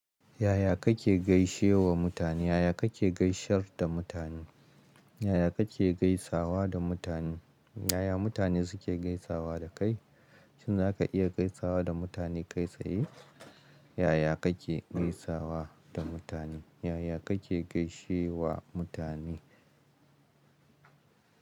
Yaya kake gaishe wa mutane? Yaya kake gaisar da mutane? Yaya kake gaisawa da mutane? Yaya mutane suke gaisawa da kai? Shin za ka iya gaisawa da mutane kai tsaye? Yaya kake gaisawa da mutane? Yaya kake gaishe wa mutane?